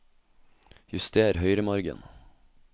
Juster høyremargen